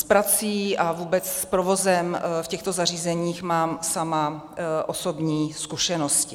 S prací a vůbec s provozem v těchto zařízeních mám sama osobní zkušenosti.